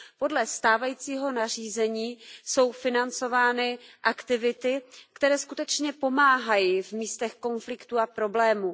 Podle stávajícího nařízení jsou financovány aktivity, které skutečně pomáhají v místech konfliktů a problémů.